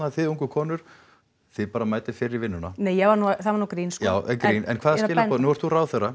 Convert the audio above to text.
þið ungu konur þið bara mætið fyrr í vinnuna það var nú grín en hvaða skilaboð nú ert þú ráðherra